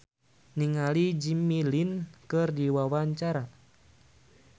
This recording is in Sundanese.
Ricky Harun olohok ningali Jimmy Lin keur diwawancara